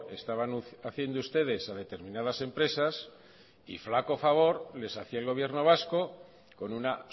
estaban haciendo ustedes a determinadas empresas y flaco favor les hacía el gobierno vasco con una